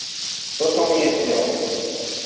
что ты умеешь делать